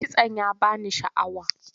Kitson ya ba ni sha'awa.